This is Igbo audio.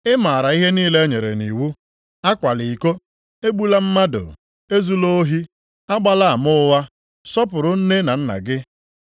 Ị maara ihe niile enyere nʼiwu, akwala iko, egbula mmadụ, ezula ohi, agbala ama ụgha, sọpụrụ nne na nna gị. + 18:20 \+xt Ọpụ 20:12-16; Dit 5:16-20\+xt* ”